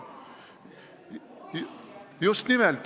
Just nimelt.